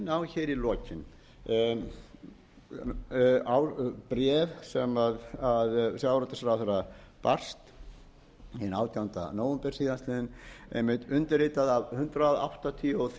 og ég leyfi mér að minna á hér í lokin bréf sem sjávarútvegsráðherra barst hinn átjánda nóvember síðastliðinn einmitt undirritað af hundrað áttatíu og